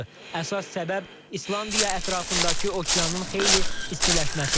Əsas səbəb İslandiya ətrafındakı okeanın xeyli istiləşməsidir.